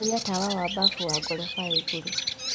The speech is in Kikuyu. horĩa tawa wa bafu wa gorofa ya ĩgũrũ